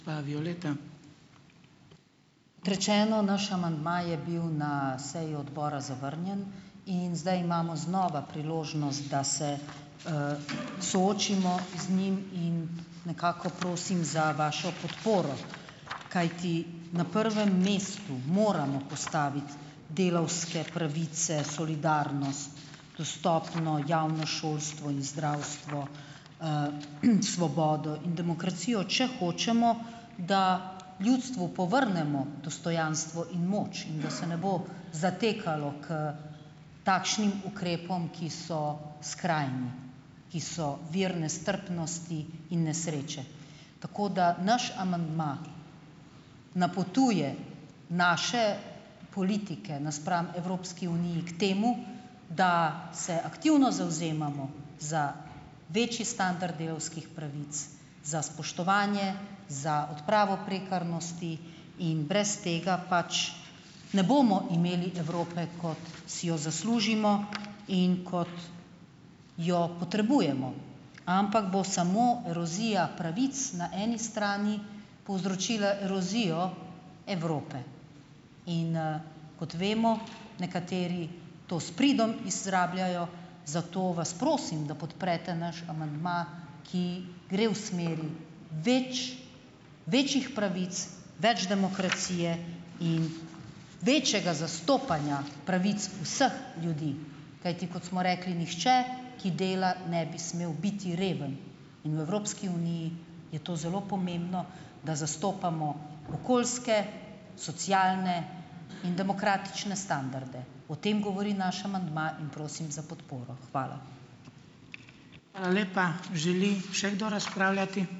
Rečeno, naš amandma je bil na seji odbora zavrnjen in zdaj imamo znova priložnost, da se soočimo z njim in nekako prosim za vašo podporo, kajti na prvem mestu moramo postaviti delavske pravice, solidarnost, dostopno javno šolstvo in zdravstvo, svobodo in demokracijo, če hočemo, da ljudstvu povrnemo dostojanstvo in moč in da se ne bo zatekalo k takšnim ukrepom, ki so skrajni, ki so vir nestrpnosti in nesreče. Tako da naš amandma napotuje naše politike napram Evropski uniji k temu, da se aktivno zavzemamo za večji standard delavskih pravic, za spoštovanje, za odpravo prekarnosti in brez tega pač ne bomo imeli Evrope, kot si jo zaslužimo in kot jo potrebujemo, ampak bo samo erozija pravic na eni strani povzročila erozijo Evrope in, kot vemo, nekateri to s pridom izrabljajo, zato vas prosim, da podprete naš amandma, ki gre v smeri več, večjih pravic, več demokracije in večjega zastopanja pravic vseh ljudi, kajti kot smo rekli, nihče, ki dela, ne bi smel biti reven, in v Evropski uniji je to zelo pomembno, da zastopamo okoljske, socialne in demokratične standarde. O tem govori naš amandma in prosim za podporo. Hvala.